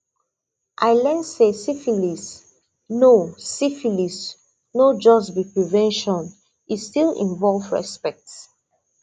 i learn say syphilis no syphilis no just be prevention e still involve respect